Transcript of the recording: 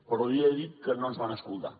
però li he de dir que no ens van escoltar